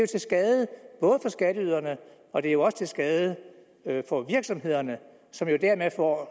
til skade for skatteyderne og det er jo også til skade for virksomhederne som jo dermed får